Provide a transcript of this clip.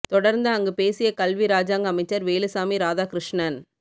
தொடர்ந்து அங்கு பேசிய கல்வி இராஜாங்க அமைச்சர் வேலுசாமி இராதாகிருஸ்ணன்